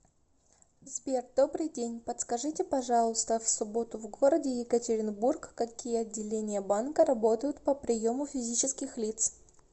сбер добрый день подскажите пожалуйста в субботу в городе екатеринбург какие отделение банка работают по приему физических лиц